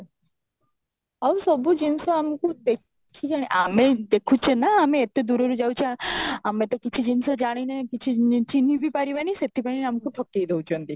ଆଉ ସବୁ ଜିନିଷ ଆମକୁ ଦେଖି ଆମେ ଦେଖୁଛେ ନା ଆମେ ଏତେ ଦୂରରୁ ଯାଉଛେ ଆମେ ତ କିଛି ଜିନିଷ ଜାଣିନେ କିଛି ଅଁ ଚିନହିଁ ବି ପାରିବାନି ସେଥି ପାଇଁ ଆମକୁ ଠକେଇ ଦେଉଛନ୍ତି